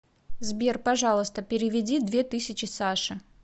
сбер пожалуйста переведи две тысячи саше